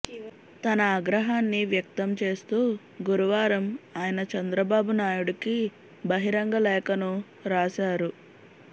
తన ఆగ్రహాన్ని వ్యక్తం చేస్తూ గురువారం ఆయన చంద్రబాబు నాయుడికి బహిరంగ లేఖను రాశారు